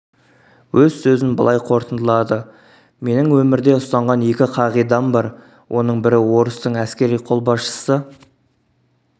өз созін былай қорытындылады менің өмірде ұстанған екі қағидам бар оның бірі орыстың әскери қолбасшысы